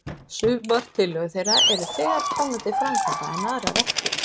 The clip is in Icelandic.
Sumar tillögur þeirra eru þegar komnar til framkvæmda, en aðrar ekki.